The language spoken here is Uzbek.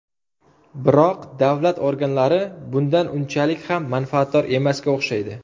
Biroq davlat organlari bundan unchalik ham manfaatdor emasga o‘xshaydi.